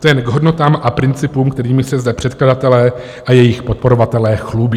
To je k hodnotám a principům, kterými se zde předkladatelé a jejich podporovatelé chlubí.